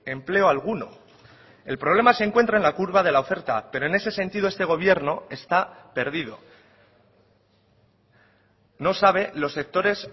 empleo alguno el problema se encuentra en la curva de la oferta pero en ese sentido este gobierno está perdido no sabe los sectores